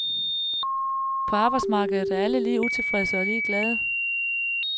På arbejdsmarkedet er alle lige utilfredse og lige glade.